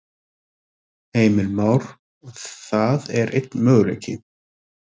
Heimir Már: Það er einn möguleiki?